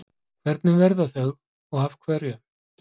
Hvernig verða þau og af hverju?